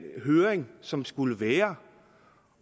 høring som skulle være